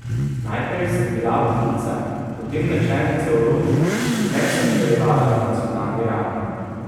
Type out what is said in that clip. Najprej sem bila vodnica, potem načelnica v rodu, pozneje sem nadaljevala na nacionalni ravni.